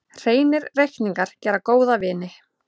Hreinir reikningar gera góða vini.